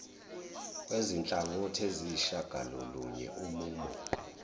wezinhlangothi eziyisishagalolunye umumo